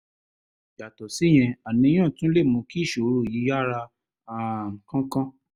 yàtọ̀ síyẹn àníyàn tún lè mú kí ìṣòro yìí yára um kánkán